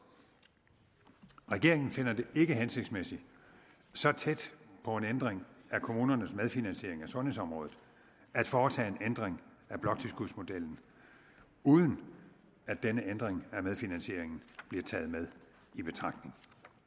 regeringen finder det ikke hensigtsmæssigt så tæt på en ændring af kommunernes medfinansiering af sundhedsområdet at foretage en ændring af bloktilskudsmodellen uden at denne ændring af medfinansieringen bliver taget med i betragtning